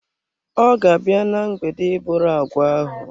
Ọ ga-abịa na mgbede a iburu agwa ahụ.